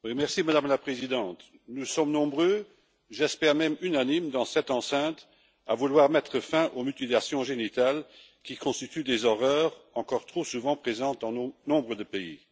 Madame la Présidente, nous sommes nombreux, j'espère même unanimes, dans cette enceinte à vouloir mettre fin aux mutilations génitales, qui constituent des horreurs encore trop souvent présentes dans nombre de pays.